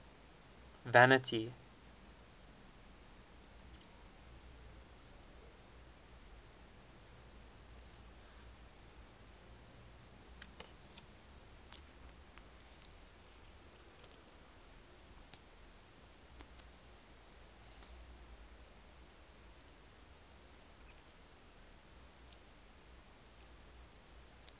vanity